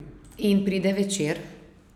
In pride večer.